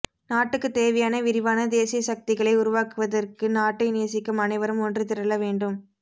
நாட்டுக்கு தேவையான விரிவான தேசிய சக்திகளை உருவாக்குவதற்கு நாட்டை நேசிக்கும் அனைவரும் ஒன்று திரள வேண்டும்